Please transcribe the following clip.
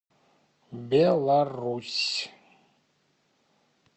беларусь